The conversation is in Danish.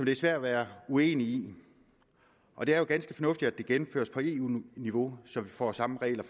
er svært at være uenig i og det er jo ganske fornuftigt at det gennemføres på eu niveau så vi får samme regler